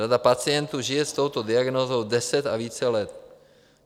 Řada pacientů žije s touto diagnózou deset a více let.